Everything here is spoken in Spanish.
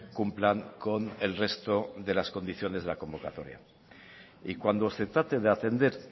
cumplan con el resto de las condiciones de la convocatoria y cuando se trate de atender